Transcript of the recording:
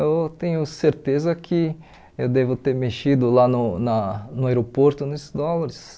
Eu tenho certeza que eu devo ter mexido lá no na no aeroporto nos dólares.